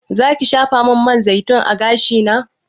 Zaki shafamin man zaitun a gashina?